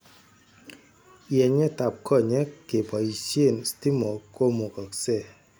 Yenyet ab konyek kepoisien stimok komukokse